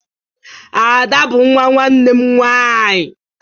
Ada bu nwa nwanne m nwanyi